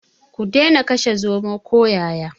Ku dena kashe zomo ko yaya.